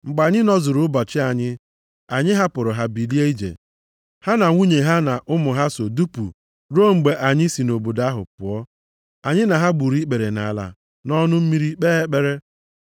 Mgbe anyị nọzuru ụbọchị anyị, anyị hapụrụ ha, bilie ije. Ha na nwunye ha na ụmụ ha so dupu ruo mgbe anyị si nʼobodo ahụ pụọ. Anyị na ha gburu ikpere nʼala nʼọnụ mmiri kpee ekpere.